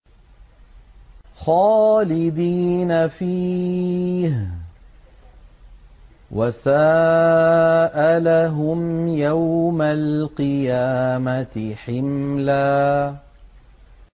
خَالِدِينَ فِيهِ ۖ وَسَاءَ لَهُمْ يَوْمَ الْقِيَامَةِ حِمْلًا